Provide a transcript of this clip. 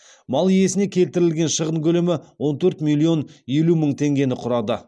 мал иесіне келтірілген шығын көлемі он төрт миллион елу мың теңгені құрады